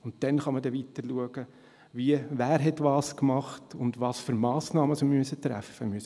Dann kann man weiterschauen, wer was gemacht hat und welche Massnahmen wir ergreifen müssen.